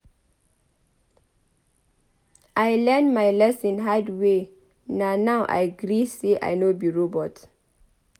I learn my lesson hard way na now I gree say I no be robot.